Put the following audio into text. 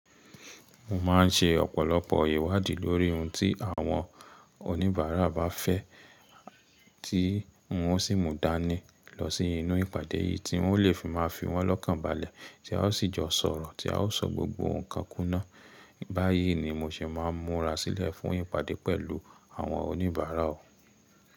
Mo maa n ṣe ọ̀pọ̀lọpọ̀ ìwádìí lórí ohun tí àwọn oníbàárà bá fẹ́, tí mọ o sì mú dání lọ sí inú ìpàdé yìí tí wọ́n lè fi máa fi wọ́n lọ́kàn balẹ̀ tí a ó sì jọ sọ̀rọ̀ tí a ó sọ gbogbo ǹnkan kúná. Báyìí ni mo ṣe máa múra sílẹ̀ fún ìpàdé pẹ̀lú àwọn oníbàárà o.